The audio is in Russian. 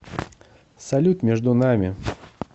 салют между нами